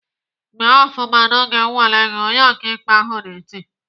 "Mee ofụma n'oge nnwale gị!" Onye ọkaikpe ahụ na-eti.